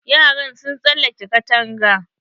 Yaran sun tsalake katanga.